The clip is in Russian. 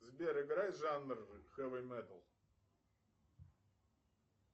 сбер играй жанр хэви металл